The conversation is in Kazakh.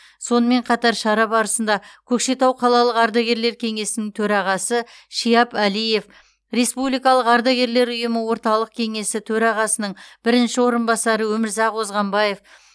сонымен қатар шара барысында көкшетау қалалық ардагерлер кеңесінің төрағасы шияп әлиев республикалық ардагерлер ұйымы орталық кеңесі төрағасының бірінші орынбасары өмірзақ озғанбаев